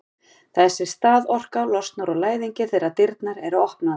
þessi staðorka losnar úr læðingi þegar dyrnar eru opnaðar